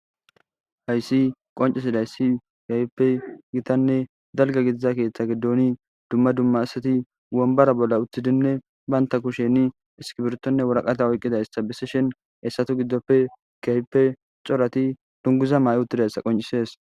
Hayssi qoncisidayssii kehippe gitanne dalgga gidiza keeththa giddooni dumma dumma asati wombara bolla uththidinne baynta kusheni iskibirtonne woraqata oyqqidayssa besishshen hessata giddoppe keehippe corati dunguza mayi uttidayssa qoncisees